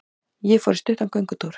Ég fór í stuttan göngutúr.